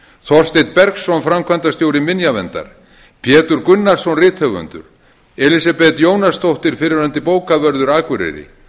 þorsteinn bergsson framkvæmdastjóri minjaverndar pétur gunnarsson rithöfundur elísabet jónasdóttir fyrrverandi bókavörður akureyri